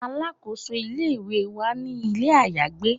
Alakoso ile-iwe wa ni ile ayagbe